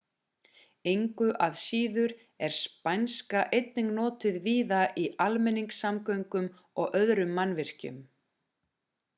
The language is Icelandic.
engu að síður er spænska einnig notuð víða í almenningssamgöngum og öðrum mannvirkjum